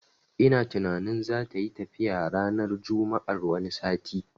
Ina tunanin zatayi tafiya ranar juma'ar wani sati